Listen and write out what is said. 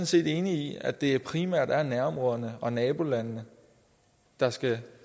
set enig i at det primært er nærområderne og nabolandene der skal